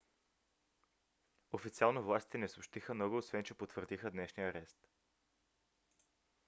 официално властите не съобщиха много освен че потвърдиха днешния арест